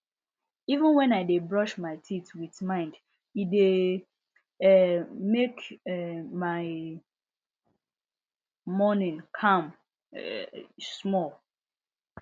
even when i dey brush my teeth with mind e dey um make um my morning calm um small